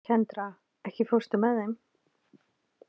Kendra, ekki fórstu með þeim?